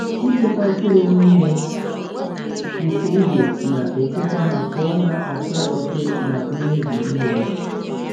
Ịchekwa mkpụrụ n’ime ite ígwè na-echekwa ha pụọ n’ata oke na mmebi mmiri.